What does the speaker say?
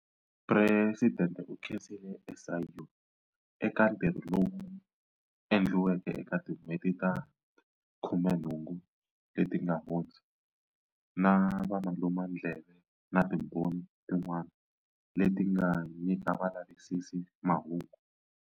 Presidente u khensile SIU eka ntirho lowu endliweke eka tin'hweti ta 18 leti nga hundza, na valumandleve na timbhoni tin'wana leti nga nyika valavisisi mahungu.